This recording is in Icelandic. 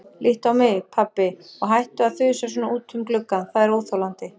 Líttu á mig, pabbi, og hættu að þusa svona út um gluggann, það er óþolandi.